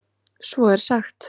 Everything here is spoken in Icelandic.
Svo er sagt að.